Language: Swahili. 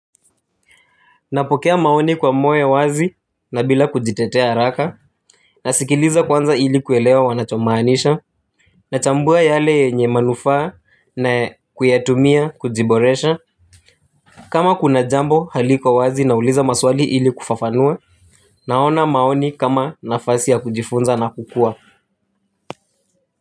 Napokea maoni kwa moyo wazi na bila kujitetea haraka. Nasikiliza kwanza ili kuelewa wanachomaanisha. Nachambua yale yenye manufaa na kuyatumia kujiboresha. Kama kuna jambo haliko wazi nauliza maswali ili kufafanua. Naona maoni kama nafasi ya kujifunza na kukua.